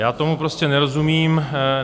Já tomu prostě nerozumím.